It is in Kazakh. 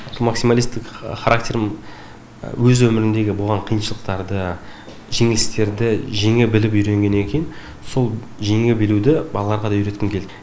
сол максималистік характерім өз өмірімдегі болған қиыншылықтарды жеңілістерді жеңе біліп үйренгеннен кейін сол жеңе білуді балаларға да үйреткім келді